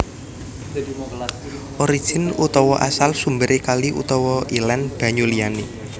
Origin utawa asal sumberé kali utawa ilén banyu liyané